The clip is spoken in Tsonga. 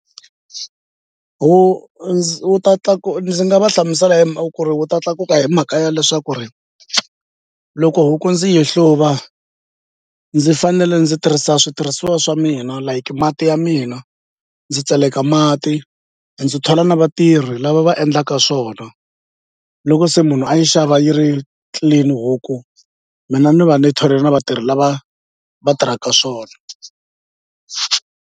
Wu ndzi wu ta ndzi nga va hlamusela hi mhaka ku ri wu ta tlakuka hi mhaka ya leswaku ri loko huku ndzi yi hluva ndzi fanele ndzi tirhisa switirhisiwa swa mina like mati ya mina ndzi tseleka mati ndzi thola na vatirhi lava va endlaka swona loko se munhu a yi xava yi ri clean huku mina ni va ni thole na vatirhi lava va tirhaka swona.